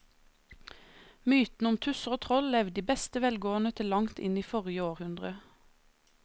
Mytene om tusser og troll levde i beste velgående til langt inn i forrige århundre.